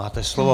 Máte slovo.